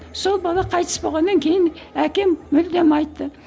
сол бала қайтыс болғаннан кейін әкем мүлдем айтты